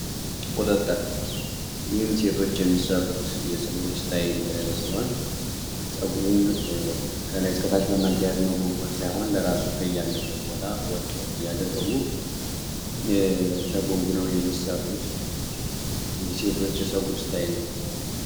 ወጥተን ሴቶች የሚሰሩት የፀጉር እስታይል ጸጉርን ከታች በመያዝ ሳይሆን ለራሱ ከያለበት ቦታ ወጦ እያደረጉ ነው የሚሠሩት የሴቶች የፀጉር እስታይል